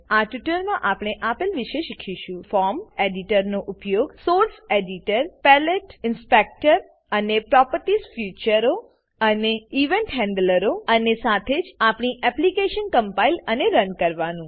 આ ટ્યુટોરીયલમાં આપેલ વિશે શીખીશું ફોર્મ એડિટર ફોર્મ એડીટરનો ઉપયોગ source editor source editor palette palette inspector inspector અને પ્રોપર્ટીઝ ફીચર્સ પ્રોપર્ટી ફીચરો અને ઇવેન્ટ હેન્ડલર્સ ઇવેન્ટ હેન્ડલરો અને સાથે જ આપણી એપ્લીકેશનને કમ્પાઈલ અને રન કરો